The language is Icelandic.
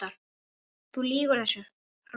Þú lýgur þessu, hrópaði